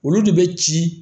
Olu de bɛ ci